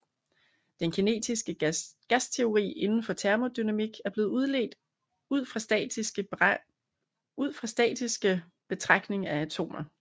Den kinetiske gasteori inden for termodynamik er blevet udledt ud fra statistiske betragtning af atomer